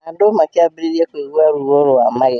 Andũ makĩambĩrĩria kũigua ruo rwa magego.